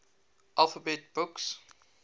alphabet books